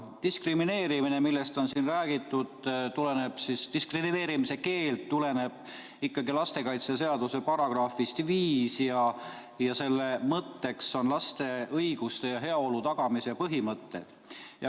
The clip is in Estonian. Diskrimineerimise keeld, millest on siin räägitud, tuleneb ikkagi lastekaitseseaduse §-st 5 ja selle mõtteks on laste õiguste ja heaolu tagamise põhimõtted.